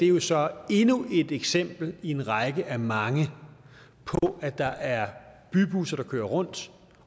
er så endnu et eksempel i en række af mange på at der er bybusser der kører rundt